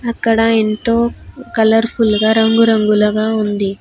అక్కడా ఎంతో colourful గా రంగురంగులగా ఉంది.